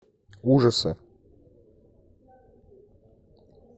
ужасы